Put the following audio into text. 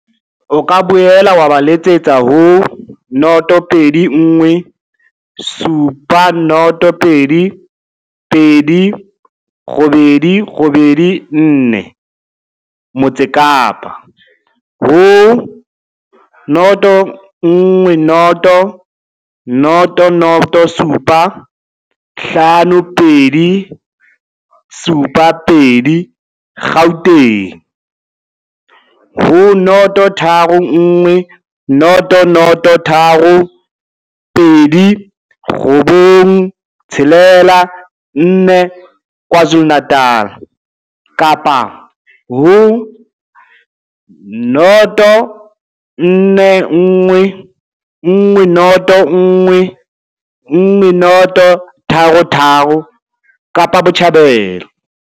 O ka boela wa ba letsetsa ho 021 702 2884, Motse Kapa, ho 010 007 5272, Gauteng, ho 031 003 2964, KwaZulu-Natala, kapa ho 041 101 1033, Kapa Botjhabela.